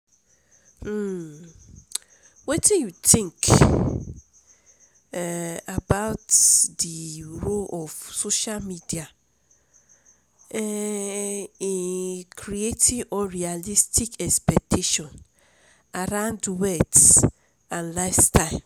um wetin you think um about di role of social media um in creating unrealistic expectations around wealth and lifestyle?